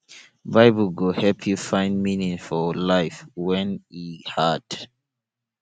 bible go help yu find meaning for life wen e hard